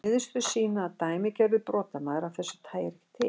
Niðurstöður sýna að dæmigerður brotamaður af þessu tagi er ekki til.